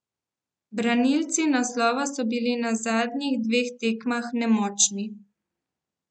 Branilci naslova so bili na zadnjih dveh tekmah nemočni.